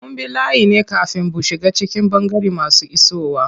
Mun bi layi ne kafin bu shiga cikin ɓangaren masu isowa.